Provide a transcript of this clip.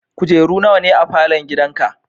Kujeru nawa ne a falon gidanka?